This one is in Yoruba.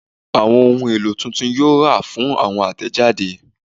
Awọn ohun elo titun yoo ra fun awọn atẹjade